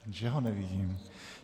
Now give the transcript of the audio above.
Že ho nevidím?